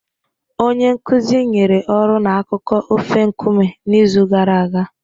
Onye nkuzi nyere ọrụ na akụkọ ofe Nkume n'izu gara aga